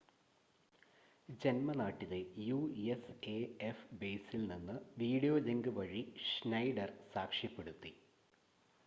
ജന്മനാട്ടിലെ USAF ബേസിൽ നിന്ന് video link വഴി ഷ്നൈഡർ സാക്ഷ്യപ്പെടുത്തി